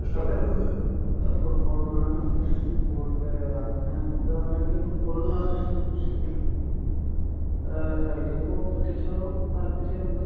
അതെ. ഫുട്ബോളിനോട് ഇഷ്ടം കൂട് അങ്ങനെ നോക്കുകയാണെന്നുണ്ടെങ്കിൽ ഫുട്ബോളിനെയാണ് ഇഷ്ടം. പക്ഷെ എങ്കിലും ഏഹ് കളിക്കുമ്പോൾ ക്രിക്കറ്റിനോടും താല്പര്യം ഉണ്ട്.